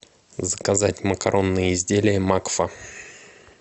заказать макаронные изделия макфа